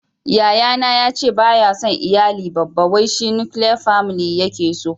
Yayana ya ce ba ya son iyali babba wai shi "nukiliya family" ya ke so